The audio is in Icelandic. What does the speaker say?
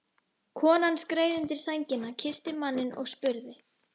Konan skreið undir sængina, kyssti manninn og spurði